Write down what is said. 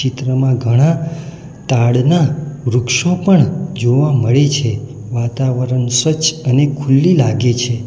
ચિત્રમાં ઘણા તાડના વૃક્ષો પણ જોવા મળે છે વાતાવરણ સ્વચ્છ અને ખુલ્લી લાગે છે.